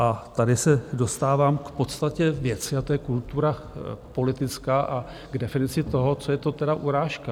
A tady se dostávám k podstatě věci, a to je kultura politická, a k definici toho, co je to teda urážka.